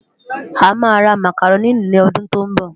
Amá rá Mákárôni lòdún tó nbò